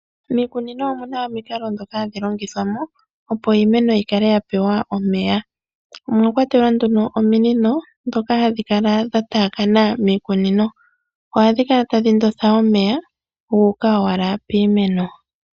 Miikunino omuna omikalo dhoka hadhi longithwamo opo iimeno dhikale dha pewa omeya. Omwa kwatelwa ano nduno ominino dhoka hadhi kala dha takana miikunino ohadhi kala tadhi ndotha omeya gu uka owala miimeno.